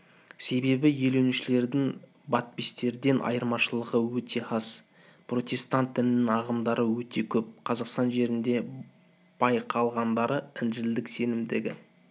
себебі елуіншілердің баптистерден айырмашылығы өте аз протестант дінінің ағымдары өте көп қазақстан жерінде байқалғандары інжілдік сенімдегі